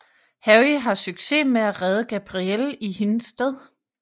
Harry har succes med at redde Gabrielle i hendes sted